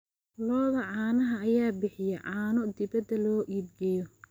Lo'da caanaha ayaa bixiya caano dibadda loo iibgeeyo.